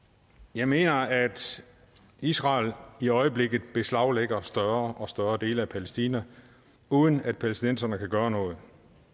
jeg mener at israel i øjeblikket beslaglægger større og større dele af palæstina uden at palæstinenserne kan gøre noget